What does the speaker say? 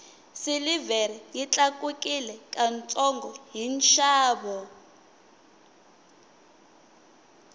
silivhere yi tlakukile ka ntsongo hi nxavo